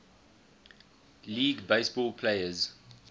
league baseball players